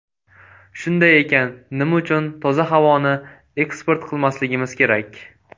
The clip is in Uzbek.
Shunday ekan, nima uchun toza havoni eksport qilmasligimiz kerak?